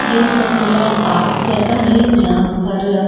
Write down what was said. ये एक खुला पार्क जैसा है जहां पर--